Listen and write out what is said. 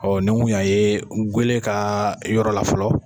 Ɔɔ ni kun y'an ye gele ka yɔrɔ la fɔlɔ.